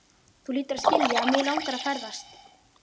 Þú hlýtur að skilja að mig langar að ferðast.